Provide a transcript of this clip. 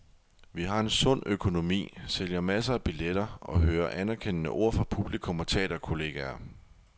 Vi har en sund økonomi, sælger masser af billetter og hører anerkendende ord fra publikum og teaterkolleger.